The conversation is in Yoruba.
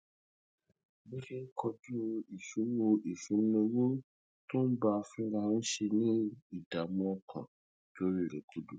bó ṣe ń kojú ìṣòro ìṣúnná owó tó ń bá a fínra ń ṣe ni ìdààmú ọkàn dorí rè kodò